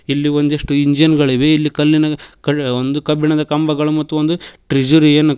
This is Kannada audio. ಇಲ್ಲಿ ಒಂದಿಷ್ಟು ಇಂಜಿನ್ ಗಳಿವೆ ಇಲ್ಲಿ ಕಲ್ಲಿನ ಕಳ್ ಒಂದು ಕಬ್ಬಿಣದ ಕಂಬಗಳು ಮತ್ತು ಒಂದು ಟ್ರಿಷರಿಯನ್ನು --